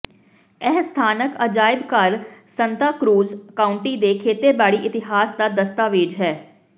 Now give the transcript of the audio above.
ਇਹ ਸਥਾਨਕ ਅਜਾਇਬ ਘਰ ਸੰਤਾ ਕ੍ਰੂਜ਼ ਕਾਊਂਟੀ ਦੇ ਖੇਤੀਬਾੜੀ ਇਤਿਹਾਸ ਦਾ ਦਸਤਾਵੇਜ ਹੈ